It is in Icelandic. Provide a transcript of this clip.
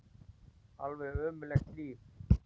Alveg ömurlegt líf.